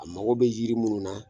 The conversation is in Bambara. A mago be yiri munun na